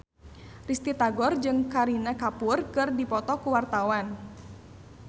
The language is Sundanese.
Risty Tagor jeung Kareena Kapoor keur dipoto ku wartawan